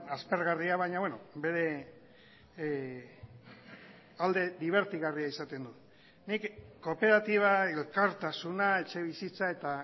aspergarria baina bere alde dibertigarria izaten du nik kooperatiba elkartasuna etxebizitza eta